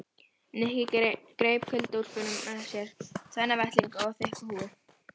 Nikki greip kuldaúlpuna með sér, tvenna vettlinga og þykka húfu.